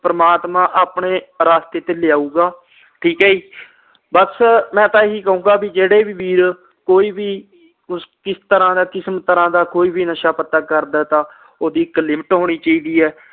ਪ੍ਰਮਾਤਮਾ ਆਪਣੇ ਰਾਸਤੇ ਤੇ ਲਿਆਓਗੇ ਠੀਕ ਆ ਜੀ ਬਸ ਮੈਂ ਤਾ ਇਹੀ ਕਹੂਗਾ ਬੀ ਜਿਹੜੇ ਵੀ ਵੀਰ ਕੋਈ ਵੀ ਕਿਸੇ ਕਿਸਮ ਤਰਾਂ ਦਾ ਨਸ਼ਾ ਪਤਾ ਕਰਦਾ ਏ ਤਾ ਉਸਦੀ ਇਕ ਲਿਮਿਟ ਹੋਣੀ ਚਾਹੀਦੀ ਆ